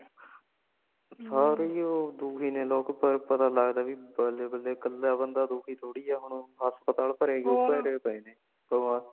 ਸਾਰੇ ਹੀ ਉਹ ਦੁਖੀ ਨੇ ਲੋਗ ਪਰ ਪਤਾ ਲੱਗਦਾ ਬਾਈ ਬਲੇ ਬਲੇ ਕਲਾ ਬੰਦਾ ਦੁਖੀ ਥੋੜੀ ਹੈ ,ਹੁਣ ਉਹ ਹਸਪਤਾਲ ਬਰੇ ਪਏ ਨੇ ਤੂੰ ਆ